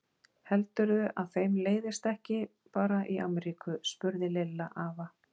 Heldurðu að þeim leiðist ekki bara í Ameríku? spurði Lilla afa.